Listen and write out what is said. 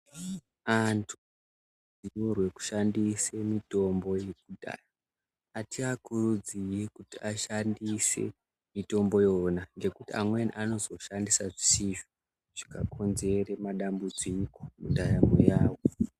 Antu anode kushandisa mitombo yekudhaya. Atiakuridziri kuti ashandisa mitombo yona ,ngekuti amweni anozoshandisa zvisizvo zvikakonzere madambudziko mundaramo yawo.